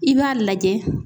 I b'a lajɛ.